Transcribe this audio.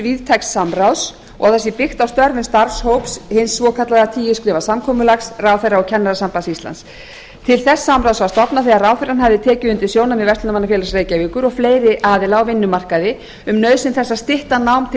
víðtæks samráðs og það sé byggt á störfum starfshóps hins svokallaða tíu skrefa samkomulags ráðherra og kennarasambands islands til þess samráðs var stofnað þegar ráðherrann hafði tekið undir sjónarmið verslunarmannafélags reykjavíkur og fleiri aðila á vinnumarkaði um nauðsyn þess að stytta nám til